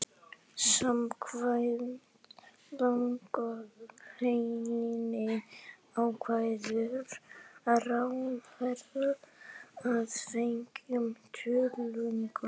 Samkvæmt lagagreininni ákveður ráðherra að fengnum tillögum